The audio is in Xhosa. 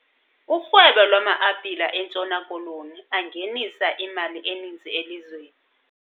Urhwebo lwama-apile eNtshona Koloni angenisa imali eninzi elizweni.